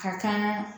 Ka kan